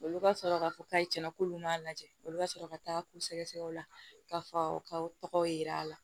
Olu ka sɔrɔ k'a fɔ k'a ye cɛn na k'olu m'a lajɛ olu ka sɔrɔ ka taa k'u sɛgɛsɛgɛ o la ka faw ka tɔgɔw yera a la